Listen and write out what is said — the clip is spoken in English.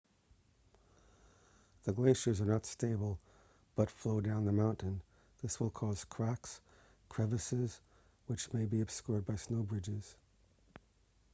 the glaciers are not stable but flow down the mountain this will cause cracks crevasses which may be obscured by snow bridges